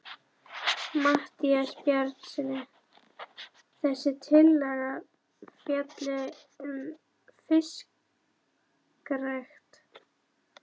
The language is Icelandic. Matthíasi Bjarnasyni, að þessi tillaga fjalli um fiskrækt.